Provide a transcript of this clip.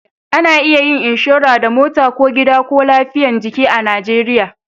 A na iya yin inshora da mota ko gida ko lafiyan jiki a najeriya